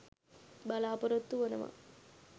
බලාපොරොත්තු වනවා.